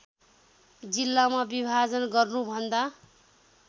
जिल्लामा विभाजन गर्नुभन्दा